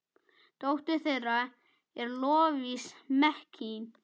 Dóttir þeirra er Lovísa Mekkín.